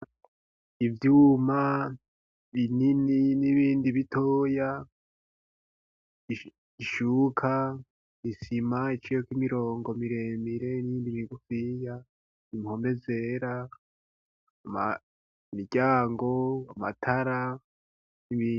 Ivyuma binini n'ibindi bitoya, ishuka, isima iciyeko imirongo miremire niyindi migufiya impome zera, imiryango, amatara.